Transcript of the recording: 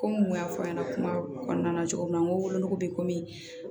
Komi n kun y'a fɔ a ɲɛna kuma kɔnɔna na cogo min na n ko wolonugu bɛ komi